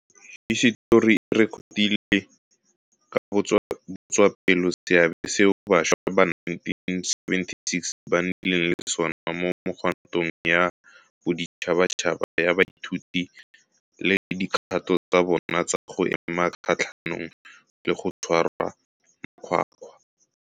Hisetori e rekotile ka botswapelo seabe seo bašwa ba 1976 ba nnileng le sona mo megwantong ya boditšhabatšhaba ya baithuti le dikgato tsa bona tsa go ema kgatlhanong le go tshwarwa makgwakgwa.